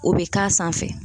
O bɛ k'a sanfɛ